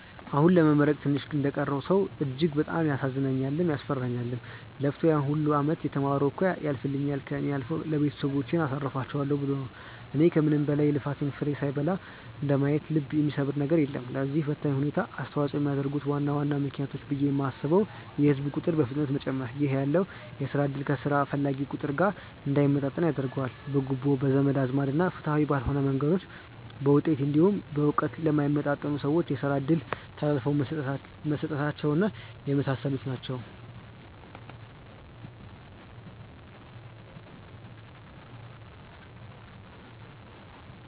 አሁን ለመመረቅ ትንሽ እንደቀረው ሰው እጅግ በጣም ያሳዝነኛልም፤ ያስፈራኛልም። ለፍቶ ያን ሁላ አመት የተማረው እኮ ያልፍልኛል፣ ከእኔ አልፎ ቤተሰቦቼን አሳርፋቸዋለው ብሎ ነው። እና ከምንም በላይ የልፋቱን ፍሬ ሳይበላ እንደማየት ልብ የሚሰብር ነገር የለም። ለዚህ ፈታኝ ሁኔታ አስተዋጽኦ የሚያደርጉ ዋና ዋና ምክንያቶች ብዬ የማስበው የህዝብ ቁጥር በፍጥነት መጨመር ( ይህ ያለውን የስራ እድል ከስራ ፈላጊው ቁጥር ጋር እንዳይመጣጠን ያደርገዋል።) ፣ በጉቦ፣ በዘመድ አዝማድ እና ፍትሃዊ ባልሆኑ መንገዶች በውጤት እንዲሁም በእውቀት ለማይመጥኑ ሰዎች የስራ እድሎች ተላልፈው መሰጠታቸው እና የመሳሰሉት ናቸው።